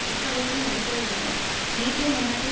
புக்காரெஸ்டில் நடைபெற உள்ள நேட்டோ மாநாட்டில்